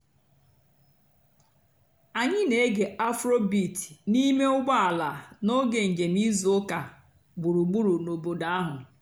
ányị́ nà-ège afróbeat n'íìmé ụ́gbọ́ àlà n'óge ǹjéém ìzú ụ́kà gbùrúgbùrú n'òbòdo àhú́.